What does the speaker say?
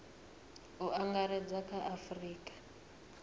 u angaredza kha a afurika